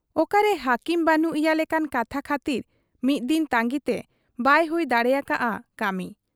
ᱚᱠᱟᱨᱮ ᱦᱟᱟᱹᱠᱤᱢ ᱵᱟᱹᱱᱩᱜ ᱮᱭᱟ ᱞᱮᱠᱟᱱ ᱠᱟᱛᱷᱟ ᱠᱷᱟᱹᱛᱤᱨ ᱢᱤᱫ ᱫᱤᱱ ᱛᱟᱺᱜᱤᱛᱮ ᱵᱟᱭ ᱦᱩᱭ ᱫᱟᱲᱮᱭᱟᱠᱟ ᱦᱟᱫ ᱟ ᱠᱟᱹᱢᱤ ᱾